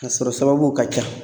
A sɔrɔ sababuw ka ca.